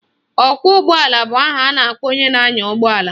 Ọkwọụgbọala bụ aha a na-akpọ onye na-anya ụgbọala